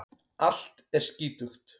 Allt er skítugt.